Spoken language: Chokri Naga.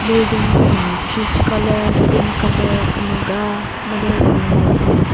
building ko humi peach colour green colour kümüga made green light bi.